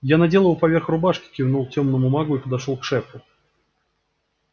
я надел его поверх рубашки кивнул тёмному магу и подошёл к шефу